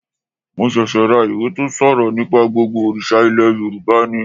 Mo ṣẹ̀ṣẹ̀ ra ìwé tó ṣòrọ̀ nípa gbogbo òrìṣà ilẹ̀ Yorùbá ni